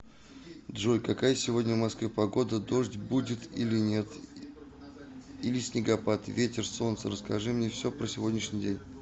джой какая сегодня в москве погода дождь будет или нет или снегопад ветер солнце расскажи мне все про сегодняшний день